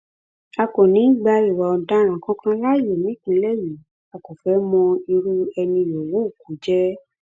a kò ní í gba ìwà ọdaràn kankan láàyè nípínlẹ yìí a kò fẹẹ mọ irú ẹni yòówù kó jẹ